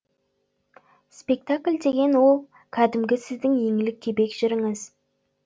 спектакль деген ол кәдімгі сіздің еңлік кебек жырыңыз